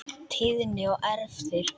Tíðni og erfðir